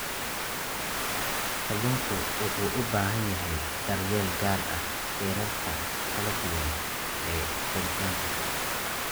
Kalluunku wuxuu u baahan yahay daryeel gaar ah heerarka kala duwan ee koritaanka.